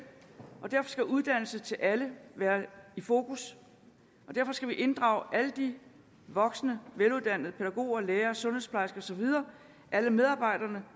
og derfor skal uddannelse til alle være i fokus og derfor skal vi inddrage alle de voksne veluddannede pædagoger lærere sundhedsplejersker og så videre alle medarbejderne